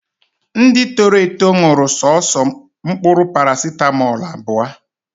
Ndị toro eto ṅụrụ soso mkpụrụ parasitamọlụ abụọ